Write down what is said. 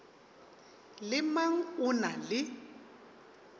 le mang o na le